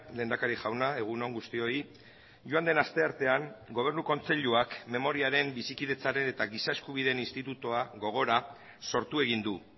lehendakari jauna egun on guztioi joan den asteartean gobernu kontseiluak memoriaren bizikidetzaren eta giza eskubideen institutua gogora sortu egin du